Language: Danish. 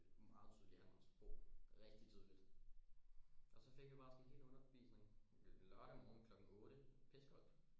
Meget tydeligt at han var god rigtig tydeligt og så fik vi bare sådan en hel undervisning lørdag morgen klokken otte pisse koldt